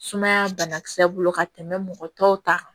Sumaya banakisɛ bolo ka tɛmɛ mɔgɔ tɔw ta kan